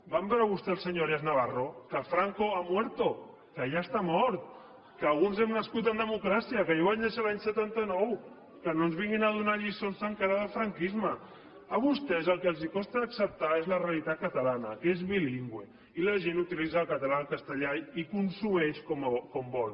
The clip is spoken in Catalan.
van veure vostès el senyor arias navarro que franco ha muerto que ja està mort que alguns hem nascut en democràcia que jo vaig néixer l’any setanta nou que no ens vinguin a donar lliçons encara del franquisme a vostès el que els costa d’acceptar és la realitat catalana que és bilingüe i la gent utilitza el català el castellà i consumeix com vol